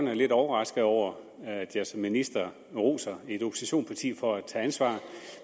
er lidt overrasket over at jeg som minister roser et oppositionsparti for at tage ansvar